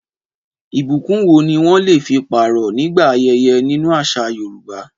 Ìbùkún wo ni wọ́n lè fi pààrọ̀ nígbà ayẹyẹ nínú àṣà Yorùbá?